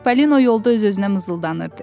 Çipalino yolda öz-özünə mızıldanırdı.